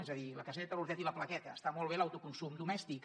és a dir la caseta l’hortet i la plaqueta estan molt bé per a l’autoconsum domèstic